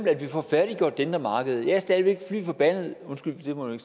at vi får færdiggjort det indre marked jeg er stadig væk flyforbandet undskyld det må jeg